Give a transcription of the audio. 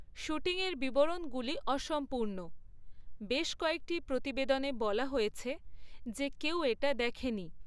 শ্যুটিংয়ের বিবরণগুলি অসম্পূর্ণ, বেশ কয়েকটি প্রতিবেদনে বলা হয়েছে যে কেউ এটা দেখেনি।